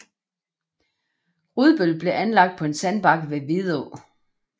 Rudbøl blev anlagt på en sandbanke ved Vidå